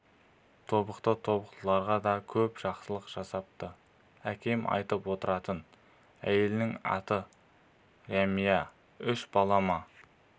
тобықты тобықтыларға да көп жақсылық жасапты әкем айтып отыратын әйелінің аты рәмия үш бала ма